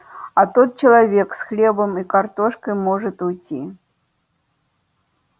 а тот человечек с хлебом и картошкой может уйти